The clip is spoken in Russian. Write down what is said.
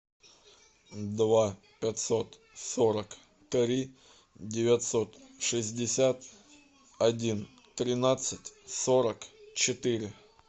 два пятьсот сорок три девятьсот шестьдесят один тринадцать сорок четыре